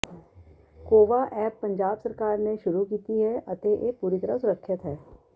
COVA app Punjab ਸਰਕਾਰ ਨੇ ਸ਼ੁਰੂ ਕੀਤੀ ਹੈ ਅਤੇ ਇਹ ਪੂਰੀ ਤਰ੍ਹਾਂ ਸੁਰੱਖਿਅਤ ਹੈ